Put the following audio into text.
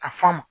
Ka f'a ma